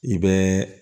I bɛ